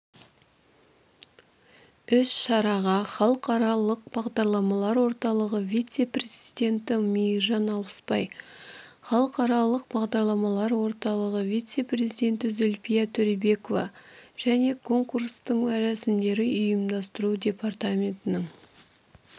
іс-шараға халықаралық бағдарламалар орталығы вице-президенті мейіржан алпысбай халықаралық бағдарламалар орталығы вице-президенті зульфия төребекова және конкурстық рәсімдерді ұйымдастыру департаментінің